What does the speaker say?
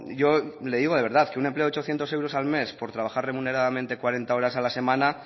yo le digo de verdad que un empleo de ochocientos euros al mes por trabajar remuneradamente cuarenta horas a la semana